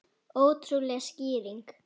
Ótrúleg skýring